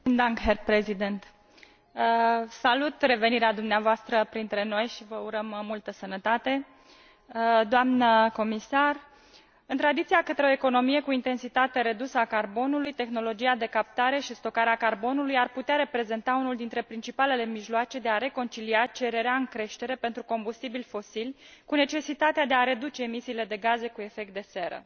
Domnule președinte, salut revenirea dumneavoastră printre noi și vă urăm multă sănătate, doamnă comisar, în tranziția către o economie cu intensitate redusă a carbonului, tehnologia de captare și stocare a carbonului ar putea reprezenta unul dintre principalele mijloace de a reconcilia cererea în creștere pentru combustibili fosili cu necesitatea de a reduce emisiile de gaze cu efect de seră.